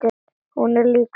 Hún er líka níu.